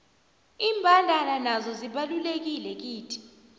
imbandana nazo zibalulekile kithi